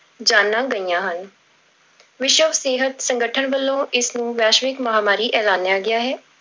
ਜਾਨਾਂ ਗਈਆਂ ਹਨ ਵਿਸ਼ਵ ਸਿਹਤ ਸੰਗਠਨ ਵੱਲੋ ਇਸ ਨੂੰ ਵੈਸ਼ਵਿਕ ਮਹਾਂਮਾਰੀ ਐਲਾਨਿਆ ਗਿਆ ਹੈ।